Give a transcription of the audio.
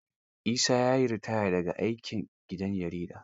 Isa ya yi ritaya da ga aikin gidan jaridar.